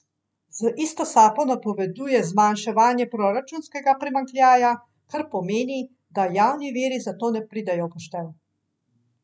Z isto sapo napoveduje zmanjševanje proračunskega primanjkljaja, kar pomeni, da javni viri za to ne pridejo v poštev.